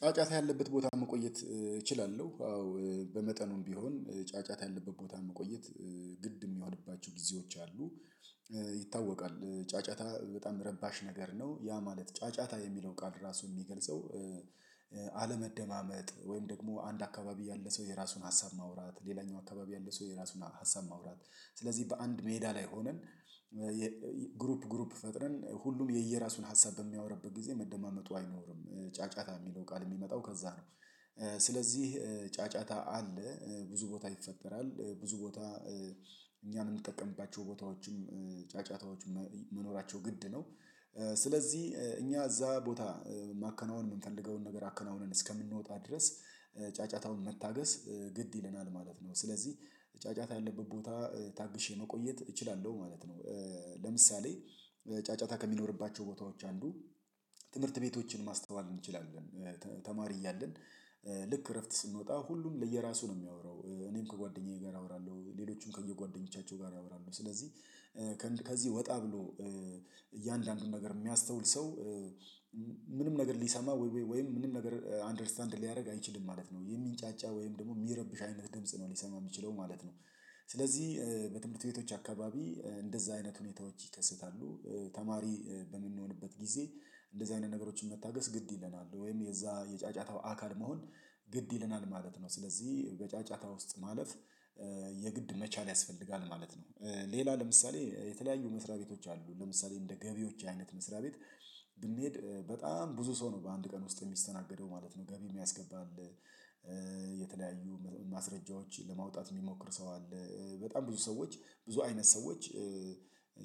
ጫጫታ ያለበት ቦታ መቆየት እችላለሁ አዎ በመጠኑም ቢሆን ጫጫታ ያለበት ቦታ መቆየት ግድ የሚሆንባቸው ጊዜዎች አሉ። ይታወቃል ጫጫታ በጣም ረባሽ ነገር ነው ያ ማለት ጫጫታ የሚለው ቃል ራሱ የሚገልጸው። አለመደማመጥ ወይም ደግሞ አንድ አካባቢ ያለ ሰው የራሱን ሀሳብ ማውራት ሌላኛው አካባቢ ያለ ሰው የራሱን ሀሳብ ማውራት ስለዚህ በአንድ ሜዳ ላይ ሆነን ግሩፕ ግሩፕ ፈጥረን ሁሉም የየራሱን ሀሳብ በሚያወርበት ጊዜ መደማመጡ አይኖርም። ጫጫታ የሚለው ቃል የሚመጣው ከዛ ነው። ስለዚህ ጫጫታ አለ ብዙ ቦታ ይፈጠራል ብዙ ቦታ እኛን የምንጠቀምባቸው ቦታዎችም ጫጫታዎችም መኖራቸው ግድ ነው። ስለዚህ እኛ እዛ ቦታ የማከናውን የምንፈልገውን ነገር አከናውነን እስከምንወጣ ድረስ ጫጫታውን መታገስ ግድ ይለናል ማለት ነው። ስለዚህ ጫጫታ ያለበት ቦታ ታግሼ መቆየት እችላለሁ ማለት ነው። ለምሳሌ ጫጫታ ከሚኖርባቸው ቦታዎች አንዱ ትምህርት ቤቶችን ማስተዋል እንችላለን። ተማሪ እያልን ልክ እረፍት ስንወጣ ሁሉም ለየራሱ ነው የሚያወራው እኔም ከጓደኛዬ ጋር አወራለሁ ሌሎችም ከየጓደኞቻቸው ጋር አወራለሁ ስለዚህ። ከዚህ ወጣ ብሎ እያንዳንዱን ነገር የሚያስተውል ሰው ምንም ነገር ሊሰማ ወይም ምንም ነገር አንደርስታንድ ሊያደርግ አይችልም ማለት ነው የሚንጫጫ ወይም ደግሞ የሚረብሽ አይነት ድምጽ ነው ሊሰማ የሚችለው ማለት ነው። ስለዚህ በትምህርት ቤቶች አካባቢ እንደዛ አይነት ሁኔታዎች ይከሰታሉ። ተማሪ በምንሆንበት ጊዜ እንደዛ አይነት ነገሮችን መታገስ ግድ ይለናል ወይም የዛ የጫጫታው አካል መሆን ግድ ይለናል ማለት ነው። ስለዚህ በጫጫታ ውስጥ ማለፍ የግድ መቻል ያስፈልጋል ማለት ነው። ሌላ ለምሳሌ የተለያዩ መስሪያ ቤቶች አሉ ለምሳሌ እንደ ገቢዎች አይነት መስሪያ ቤት ብንሄድ በጣም ብዙ ሰው ነው በአንድ ቀን ውስጥ የሚስተናገደው ማለት ነው ገቢ የሚያስገባልህ የተለያዩ ማስረጃዎችን ለማውጣት የሚሞክር ሰው አለ። በጣም ብዙ ሰዎች ብዙ አይነት ሰዎች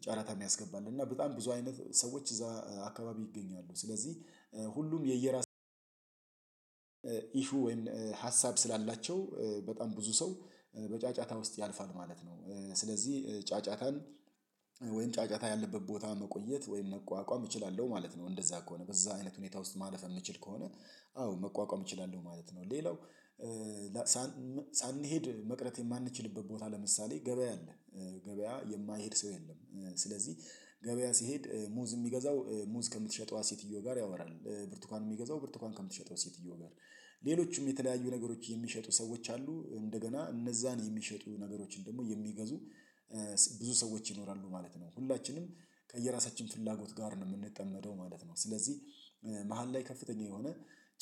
ጨረታ የሚያስገባ አለ እና በጣም ብዙ አይነት ሰዎች እዛ አካባቢ ይገኛሉ ስለዚህ ሁሉም የየራስ ኢሹ ሀሳብ ስላላቸው በጣም ብዙ ሰው በጫጫታ ውስጥ ያልፋል ማለት ነው። ስለዚህ ጫጫታን ወይም ጫጫታ ያለበት ቦታ መቆየት ወይም መቋቋም እችላለሁ ማለት ነው እንደዛ ከሆነ በዛ አይነት ሁኔታ ውስጥ ማለፍ የምችል ከሆነ አዎ መቋቋም እችላለሁ ማለት ነው። ሌላው ሳንሄድ መቅረት የማንችልበት ቦታ ለምሳሌ ገበያ አለ ገበያ የማይሄድ ሰው የለም። ስለዚህ ገበያ ሲሄድ ሙዝ የሚገዛው ሙዝ ከምትሸጠዋ ሴትዮ ጋር ያወራል ብርቱካን የሚገዛው ብርቱካን ከምትሸጠው ሴትየዋ ጋር ሌሎችም የተለያዩ ነገሮች የሚሸጡ ሰዎች አሉ እንደገና እነዛን የሚሸጡ ነገሮችን ደግሞ የሚገዙ ብዙ ሰዎች ይኖራሉ ማለት ነው። ሁላችንም ከየራሳችን ፍላጎት ጋር ነው የምንጠመደው ማለት ነው። ስለዚህ መሃል ላይ ከፍተኛ የሆነ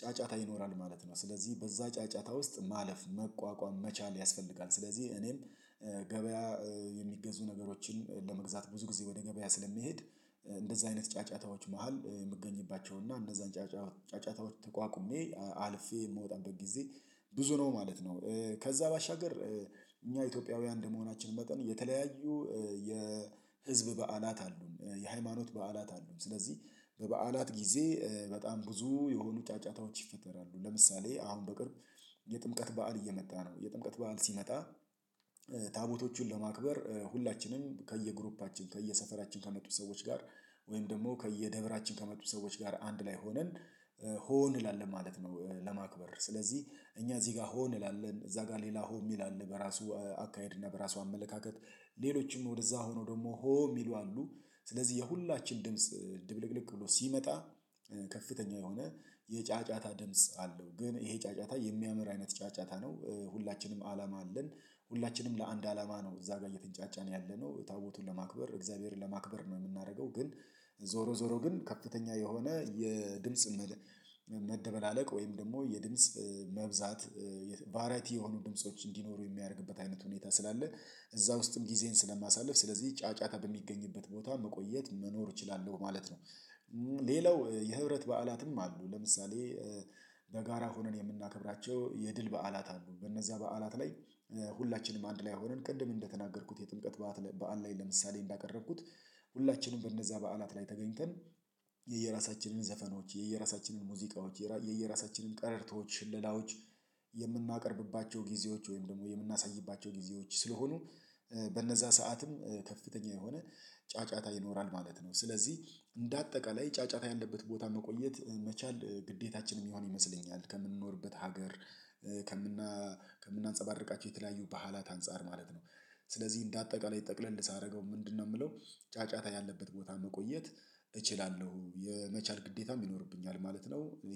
ጫጫታ ይኖራል ማለት ነው። ስለዚህ በዛ ጫጫታ ውስጥ ማለፍ መቋቋም መቻል ያስፈልጋል ስለዚህ እኔም ገበያ የሚገዙ ነገሮችን ለመግዛት ብዙ ጊዜ ወደ ገበያ ስለሚሄድ እንደዛ አይነት ጫጫታዎች መሃል የምገኝባቸውና እንደዛ ጫጫ ጫጫታዎች ተቋቁሜ አልፌ የምወጣበት ጊዜ ብዙ ነው ማለት ነው። ከዛ ባሻገር እኛ ኢትዮጵያውያን እንደመሆናችን መጠን የተለያዩ የህዝብ በዓላት አሉን የሃይማኖት በዓላት አሉን ስለዚህ በበዓላት ጊዜ በጣም ብዙ የሆኑ ጫጫታዎች ይፈጠራሉ ለምሳሌ አሁን በቅርብ የጥምቀት በዓል እየመጣ ነው። የጥምቀት በዓል ሲመጣ ታቦቶቹን ለማክበር ሁላችንም ከየግሩፓችን ከየሰፈራችን ከመጡት ሰዎች ጋር ወይም ደግሞ ከየደብራችን ከመጡት ሰዎች ጋር አንድ ላይ ሆነን ሆ እንላለን ማለት ነው ለማክበር ስለዚህ እኛ እዚህ ጋር ሆ እንላለን እዛ ጋር ሌላ ሆ ሚል አለ በራሱ አካሄድ እና በራሱ አመለካከት ሌሎችም ወደዛ ሆኖ ደግሞ ሆ የሚሉ አሉ ስለዚህ የሁላችን ድምጽ ድብልቅልቅ ብሎ ሲመጣ ከፍተኛ የሆነ የጫጫታ ድምጽ አለው ግን ይሄ ጫጫታ የሚያምር አይነት ጫጫታ ነው። ሁላችንም አላማ አለን ሁላችንም ለአንድ አላማ ነው እዛ ጋር የተንጫጫን ያለነው ታቦቱን ለማክበር እግዚአብሔርን ለማክበር ነው። የምናደርገው ግን ዞሮ ዞሮ ግን ከፍተኛ የሆነ የድምጽ መደበላለቅ ወይም ደግሞ የድምጽ መብዛት ቫራይቲ የሆኑ ድምጾች እንዲኖሩ የሚያደርግበት አይነት ሁኔታ ስላለ እዛ ውስጥም ጊዜን ስለማሳልፍ ስለዚህ ጫጫታ በሚገኝበት ቦታ መቆየት መኖር እችላለሁ ማለት ነው። ሌላው የህብረት በዓላትም አሉ። ለምሳሌ በጋራ ሆነን የምናከብራቸው የድል በዓላት አሉ። በእነዛ በዓላት ላይ ሁላችንም አንድ ላይ ሆነን ቅድም እንደተናገርኩት የጥምቀት በዓል ላይ ለምሳሌ እንዳቀረብኩት ሁላችንም በእነዛ በዓላት ላይ ተገኝተን የየራሳችንን ዘፈኖች የየራሳችንን ሙዚቃዎች የየራሳችንን ቀረርቶች ሽለላዎች የምናቀርብባቸው ጊዜዎች ወይም ደግሞ የምናሳይባቸው ጊዜዎች ስለሆኑ በነዛ ሰዓትም ከፍተኛ የሆነ ጫጫታ ይኖራል ማለት ነው። ስለዚህ እንደ አጠቃላይ ጫጫታ ያለበት ቦታ መቆየት መቻል ግዴታችን የሚሆን ይመስለኛል ከምንኖርበት ሀገር ከምናንፀባርቃቸው የተለያዩ በዓላት አንፃር ማለት ነው። ስለዚህ እንደ አጠቃላይ ጠቅለል ሳደርገው ምንድነው ምለው? ጫጫታ ያለበት ቦታ መቆየት እችላለሁኝ የመቻል ግዴታም ይኖርብኛል ማለት ነው።